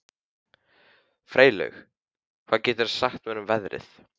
Freylaug, hvað geturðu sagt mér um veðrið?